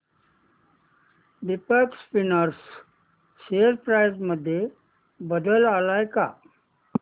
Deepak spinners share price मध्ये बदल आलाय का